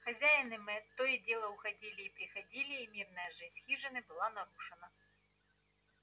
хозяин и мэтт то и дело уходили и приходили и мирная жизнь хижины была нарушена